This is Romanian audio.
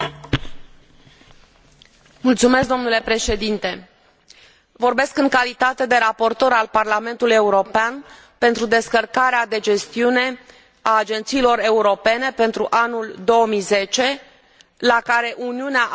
Vorbesc în calitate de raportor al Parlamentului European pentru descărcarea de gestiune a agențiilor europene pentru anul 2010, la care Uniunea a contribuit cu 768 de milioane de euro.